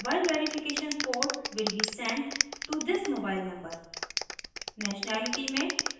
यह बताता है कि mobile verification code will be sent to this mobile number